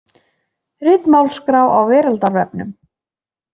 Ritmálsskrá á Veraldarvefnum.